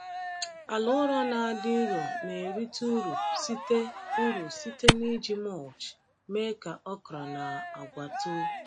Ala ụrọ na-adị nro na-erite uru site uru site n’iji mulch mee ka okra na agwa too.